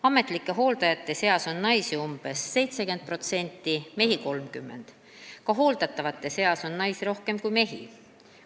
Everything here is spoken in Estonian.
Ametlike hooldajate seas on naisi umbes 70%, mehi 30%, ka hooldatavate seas on naisi rohkem kui mehi.